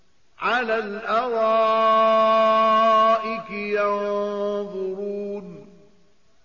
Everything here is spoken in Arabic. عَلَى الْأَرَائِكِ يَنظُرُونَ